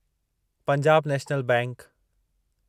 Punjab National bank